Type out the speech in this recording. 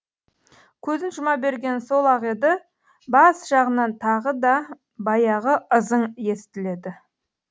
көзін жұма бергені сол ақ еді бас жағынан тағы да баяғы ызың естіледі